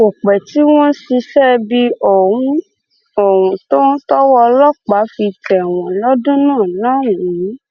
kò pẹ tí wọn ṣiṣẹ ibi ọhún ọhún tán tọwọ ọlọpàá fi tẹ wọn lọdún náà lọhùnún